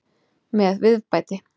Með viðbæti.